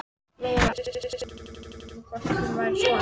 Lóa-Lóa var ekki viss um hvort hún væri sofandi.